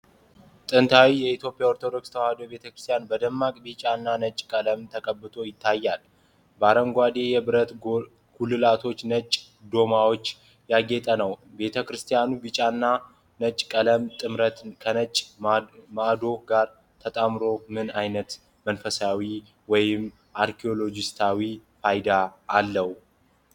ንታዊው የኢትዮጵያ ኦርቶዶክስ ተዋሕዶ ቤተክርስቲያን በደማቅ ቢጫና ነጭ ቀለም ተቀብቶ ይታያል፤ በአረንጓዴ የብረት ጉልላቶችና ነጭ ዓምዶች ያጌጠ ነው። የቤተ ክርስቲያኑ ቢጫና ነጭ ቀለም ጥምረት ከነጭ ዓምዶቹ ጋር ተጣምሮ ምን ዓይነት መንፈሳዊ ወይም አርኪዮሎጂያዊ ፋይዳ አለው?